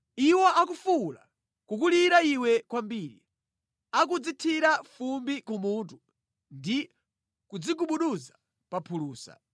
Iwo akufuwula, kukulira iwe kwambiri; akudzithira fumbi kumutu, ndi kudzigubuduza pa phulusa.